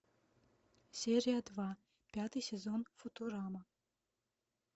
серия два пятый сезон футурама